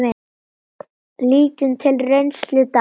Lítum til reynslu Dana.